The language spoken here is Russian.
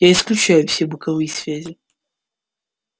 я исключаю все боковые связи